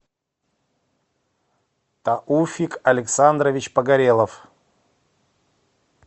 тауфик александрович погорелов